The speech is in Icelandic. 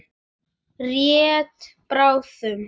Rétt bráðum.